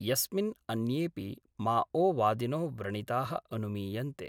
यस्मिन् अन्येपि माओवादिनो व्रणिता: अनुमीयन्ते।